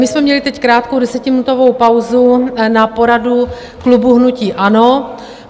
My jsme měli teď krátkou desetiminutovou pauzu na poradu klubu hnutí ANO.